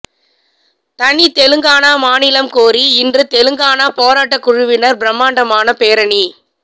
தனித் தெலுங்கானா மாநிலம் கோரி இன்று தெலுங்கானா போராட்டக் குழுவினர் பிரம்மாண்டமான பேரணி